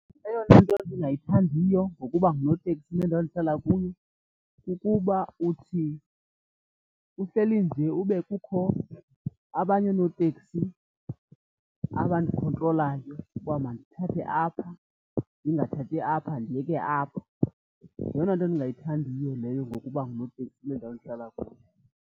Eyona nto ndingayithandiyo ngokuba ngunoteksi kule ndawo ndihlala kuyo, kukuba uthi uhleli nje ube kukho abanye oonoteksi abandikhontrolayo uba mandithathe apha ndingathathi apha, ndiyeke apha. Yeyona nto ndingayithandiyo leyo ngokuba ngunoteksi kule ndawo ndihlala kuyo.